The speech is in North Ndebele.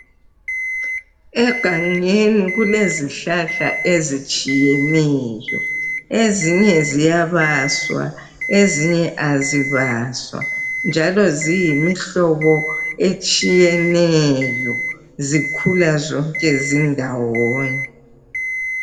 Egangeni kulezihlahla ezitshiyeneyo, ezinye ziyabaswa ezinye azibaswa njalo ziyimihlobo etshiyeneyo ,zikhula zonke zindawonye.